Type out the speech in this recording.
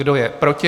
Kdo je proti?